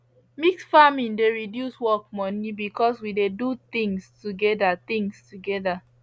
mix farming dey reduce work money because we dey do things together things together